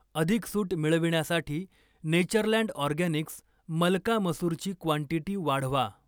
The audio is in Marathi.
अधिक सूट मिळविण्यासाठी नेचरलँड ऑर्गॅनिक्स मलका मसूरची क्वांटीटी वाढवा.